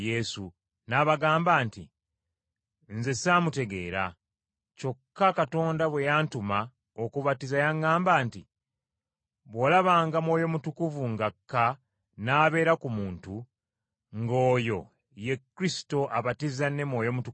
n’abagamba nti, “Nze saamutegeera, kyokka Katonda bwe yantuma okubatiza yaŋŋamba nti, ‘Bw’olabanga Mwoyo Mutukuvu ng’akka n’abeera ku muntu, nga oyo, ye Kristo abatiza ne Mwoyo Mutukuvu.’